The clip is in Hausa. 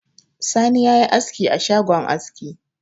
Sani ya yi askioa shagon aski